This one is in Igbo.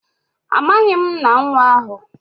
amaghim nna nwa ahu.